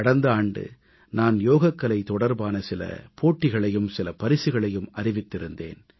கடந்த ஆண்டு நான் யோகக்கலை தொடர்பான சில போட்டிகளையும் சில பரிசுகளையும் அறிவித்திருந்தேன்